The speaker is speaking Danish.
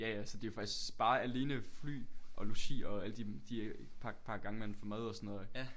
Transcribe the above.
Ja ja så det faktisk bare alene fly og logi og alle de de øh par par gange man får mad og sådan noget ikke